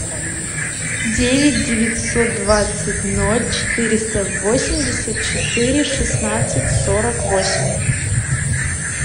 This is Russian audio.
девять девятьсот двадцать ноль четыреста восемьдесят четыре шестнадцать сорок восемь